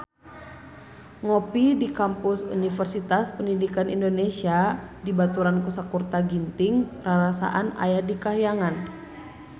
Ngopi di Kampus Universitas Pendidikan Indonesia dibaturan ku Sakutra Ginting rarasaan aya di kahyangan